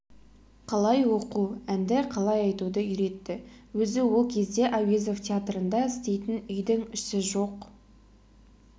қалай оқу әнді қалай айтуды үйретті өзі ол кезде әуезов тетарында істейтін үйдің іші жоқ